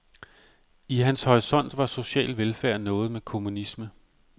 I hans horisont var social velfærd noget med kommunisme.